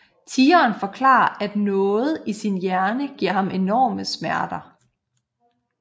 Tigeren forklarer at noget i sin hjerne giver ham enorme smerter